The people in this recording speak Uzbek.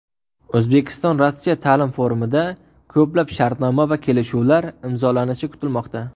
O‘zbekistonRossiya ta’lim forumida ko‘plab shartnoma va kelishuvlar imzolanishi kutilmoqda.